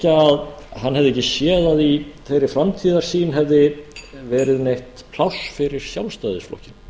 að hann hefði ekki séð að í þeirri framtíðarsýn hefði verið neitt pláss fyrir sjálfstæðisflokkinn